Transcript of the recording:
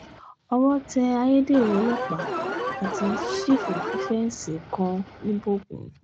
owó tẹ ayédèrú ọlọ́pàá àti sífù fífẹ́ǹsì kan ńíbógun